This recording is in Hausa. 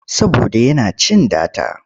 Saboda yana cin data.